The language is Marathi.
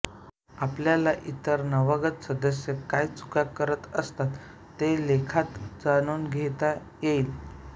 आपल्याला इतर नवागत सदस्य काय चुका करत असत्तात ते लेखात जाणून घेता येईल